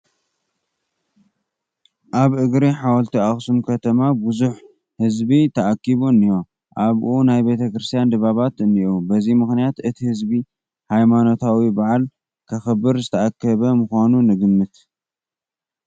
ኣብ እግሪ ሓወልቲ ኣኽሱም ከተማ ብዙሕ ህዝቢ ተኣኪቡ እኒሀ፡፡ ኣብኡ ናይ ቤተ ክርስቲያን ድባባት እኔዉ፡፡ በዚ ምኽንያት እቲ ህዝቢ ሃይማኖታዊ በዓል ከኽብር ዝተኣከበ ምዃኑ ንግምት፡፡